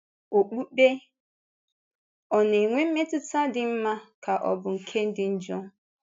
Okpukpe — Ọ̀ na-enwe mmetụ́tà dị mma ka ọ bụ nke dị njọ?